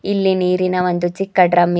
ಇಲ್ಲಿ ನೀರಿನ ಒಂದು ಚಿಕ್ಕ ಡ್ರಮ್ ಇ--